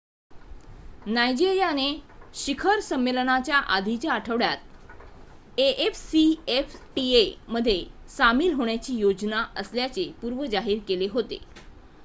नायजेरियाने शिखर संमेलनाच्या आधीच्या आठवड्यात afcfta मध्ये सामील होण्याची योजना असल्याचे पूर्वी जाहीर केले होते